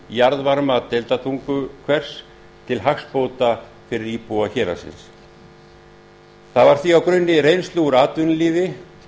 jarðvarma deildartunguhvers til hagsbóta fyrir íbúa héraðsins það var því á grunni reynslu úr atvinnulífi